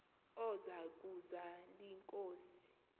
oza kuzal inkosi